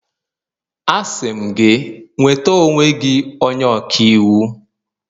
Asị m gị, nweta onwe gị onye ọka iwu!